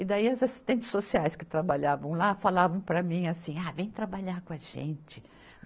E daí as assistentes sociais que trabalhavam lá falavam para mim assim, ah, vem trabalhar com a gente.